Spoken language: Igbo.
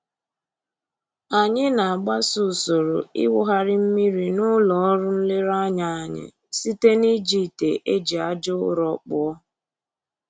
Anyị na-agbaso usoro ịwụgharị mmiri n'ụlọ ọrụ nlereanya anyị site n'iji ite e ji aja ụrọ kpụọ